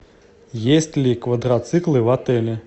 есть ли квадроциклы в отеле